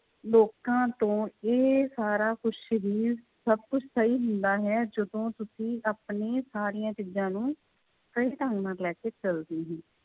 ਲੋਕਾਂ ਤੋਂ ਇਹ ਸਾਰਾ ਕੁਛ ਸਰੀਰ ਸਭ ਕੁਛ ਸਹੀ ਹੁੰਦਾ ਹੈ ਜਦੋਂ ਤੁਸੀਂ ਆਪਣੀ ਸਾਰੀਆਂ ਚੀਜ਼ਾਂ ਨੂੰ ਸਹੀ ਢੰਗ ਨਾਲ ਲੈ ਕੇ ਚੱਲਦੇ ਹੋ।